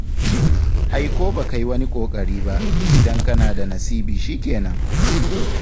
Ai ko baka yi wani ƙoƙari ba, in dai kana da nasibi shikenan